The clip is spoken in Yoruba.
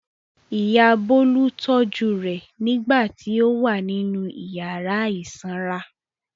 Ìyá Bólú tọ́jú rẹ̀ nígbà tí ó wà nínú ìyàrá ìsanra.